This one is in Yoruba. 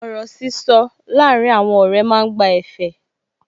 Ọ̀rọ̀ sísọ láàrín àwọn ọ̀rẹ́ máa ń gba ẹ̀fẹ̀